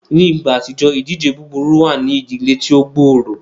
Ni igba atijọ, idije buburu wa ni idile ti o gbooro.